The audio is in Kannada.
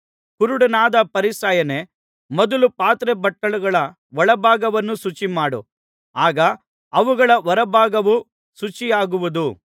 ಕುರುಡನಾದ ಫರಿಸಾಯನೇ ಮೊದಲು ಪಾತ್ರೆ ಬಟ್ಟಲುಗಳ ಒಳಭಾಗವನ್ನು ಶುಚಿಮಾಡು ಆಗ ಅವುಗಳ ಹೊರಭಾಗವೂ ಶುಚಿಯಾಗುವುದು